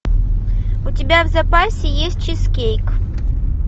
у тебя в запасе есть чизкейк